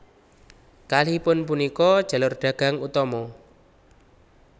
Kalihipun punika jalur dagang utama